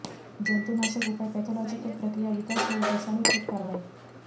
जंतुनाशक उपाय पॅथॉलॉजीकल प्रक्रिया विकास होऊ विषाणू थेट कारवाई